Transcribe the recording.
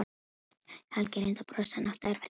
Helgi reyndi að brosa en átti erfitt með það.